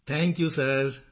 thank you ਸਿਰ